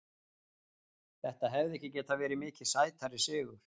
Þetta hefði ekki getað verið mikið sætari sigur.